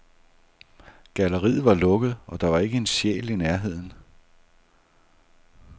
Galleriet var lukket, og der var ikke en sjæl i nærheden.